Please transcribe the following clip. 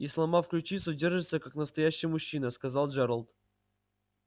и сломав ключицу держится как настоящий мужчина сказал джералд